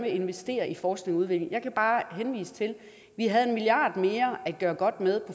investere i forskning og udvikling kan jeg bare henvise til at vi havde en milliard mere at gøre godt med